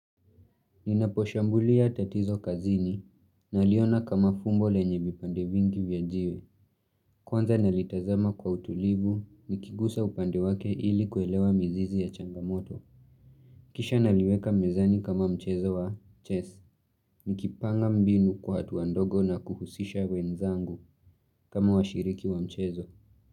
Ninaposhambulia tatizo kazini naliona kama fumbo lenye vipande vingi vya jiwe. Kwanza nalitazama kwa utulivu, nikigusa upande wake ili kuelewa mizizi ya changamoto. Kisha naliweka mezani kama mchezo wa chess. Nikipanga mbinu kwa hatua ndogo na kuhusisha wenzangu, kama washiriki wa mchezo.